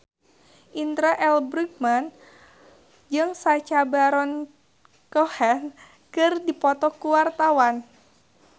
Indra L. Bruggman jeung Sacha Baron Cohen keur dipoto ku wartawan